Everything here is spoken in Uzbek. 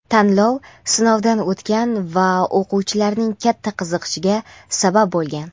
tanlov sinovdan o‘tgan va o‘quvchilarning katta qiziqishiga sabab bo‘lgan!.